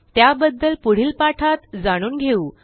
त्याबद्दल पुढील पाठात जाणून घेऊ